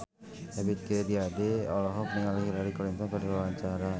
Ebith G. Ade olohok ningali Hillary Clinton keur diwawancara